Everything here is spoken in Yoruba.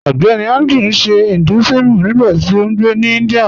Ọgbẹ́nì Andrew n ṣè Hinduism nígbàtí ó ngbé ní India